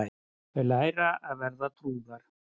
Þau læra að vera trúðar